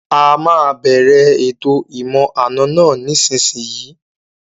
A máa bẹ̀rẹ̀ ètò ìmọ̀-àna náà nísìsiyìí